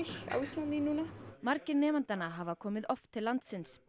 á Íslandi núna margir nemendanna hafa komið oft til landsins